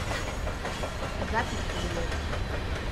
запись павелецкий